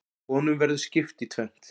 Honum verður skipt í tvennt.